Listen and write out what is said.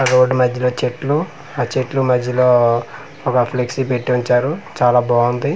Road మద్యలో చెట్లు ఆ చెట్లు మద్యలో ఒక ఫ్లెక్సీ పెట్టి ఉంచారు చాలా బాగుంది.